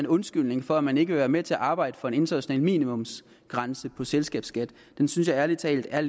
undskyldning for at man ikke vil være med til at arbejde for en international minimumsgrænse for selskabsskat synes jeg ærlig talt er